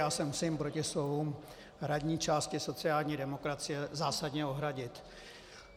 Já se musím proti slovům hradní části sociální demokracie zásadně ohradit.